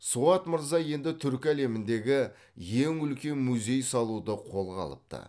суат мырза енді түркі әлеміндегі ең үлкен музей салуды қолға алыпты